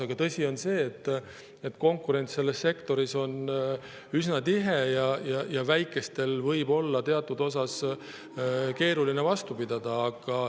Aga tõsi on see, et konkurents selles sektoris on üsna tihe ja väikestel võib teatud mõttes olla keeruline vastu pidada.